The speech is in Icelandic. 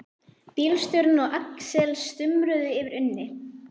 Bílstjórinn og Axel stumruðu yfir Unni.